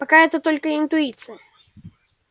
пока это только интуиция